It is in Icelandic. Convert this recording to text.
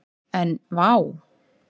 En vá!